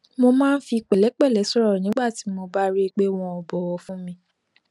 mo máa ń fi pèlépẹlẹ sòrò nígbà tí mo bá rí i pé wọn ò bòwò fún mi